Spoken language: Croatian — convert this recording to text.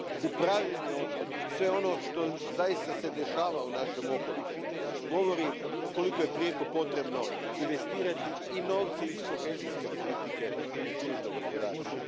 Upravljanje otpadom, sve ono što se zaista dešava u našem okolišu, govori koliko je prijeko potrebno investirati i novce iz kohezijske politike u kružno gospodarstvo.